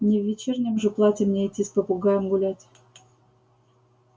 не в вечернем же платье мне идти с попугаем гулять